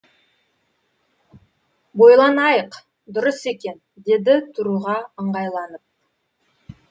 ойланайық дұрыс екен деді тұруға ыңғайланып